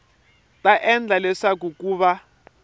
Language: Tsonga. ta endla leswaku ku va